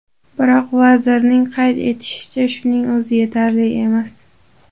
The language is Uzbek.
Biroq, vazirning qayd etishicha, shuning o‘zi yetarli emas.